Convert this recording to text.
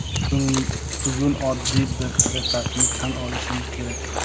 Bugun oddiy bir haqiqatni tan olishimiz kerak.